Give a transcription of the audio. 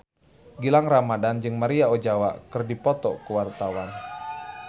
Gilang Ramadan jeung Maria Ozawa keur dipoto ku wartawan